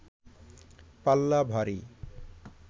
পাল্লা ভারী